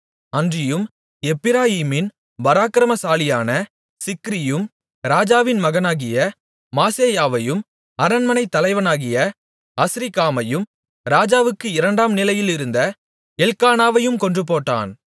அன்றியும் எப்பிராயீமின் பராக்கிரமசாலியான சிக்ரியும் ராஜாவின் மகனாகிய மாசேயாவையும் அரண்மனைத் தலைவனாகிய அஸ்ரிக்காமையும் ராஜாவுக்கு இரண்டாம் நிலையிலிருந்த எல்க்கானாவையும் கொன்றுபோட்டான்